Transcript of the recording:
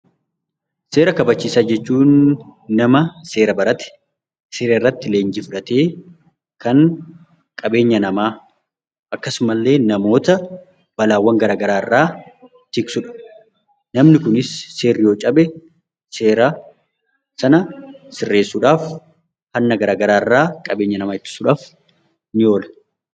Seera kabachiisaa jechuun nama seera barate seerarratti leenjii fudhatee kan qabeenya namaa akkasumallee namoota balaawwan garaagaraa irraa jigsudha. Namni Kunis seerri yoo cabe seera sana sirreessuudhaaf Hanna garaagaraa irraa ittisuudhaaf ni oola